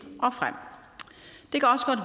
og frem